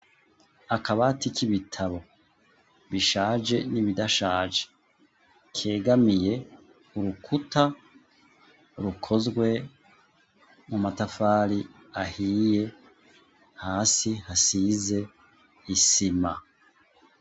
Akabatika ibitabo bishaje n'ibidashaje kegamiye urukuta rukozwe mu matafari ahiye hasi hasize isima.